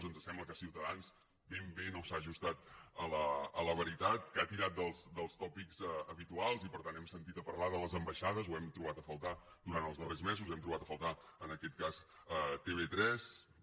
ens sembla que ciutadans ben bé no s’ha ajustat a la veritat que ha tirat dels tòpics habituals i per tant hem sentit a parlar de les ambaixades ho hem trobat a faltar durant els darrers mesos hem trobat a faltar en aquest cas tv3